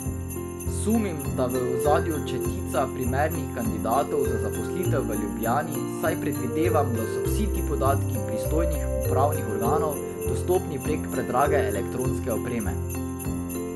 Sumim, da je v ozadju četica primernih kandidatov za zaposlitev v Ljubljani, saj predvidevam, da so vsi ti podatki pristojnih upravnih organov dostopni prek predrage elektronske opreme.